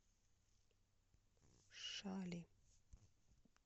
шали